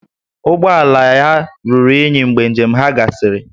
Ụgbọ ala ya ruru unyi mgbe njem ahụ gasịrị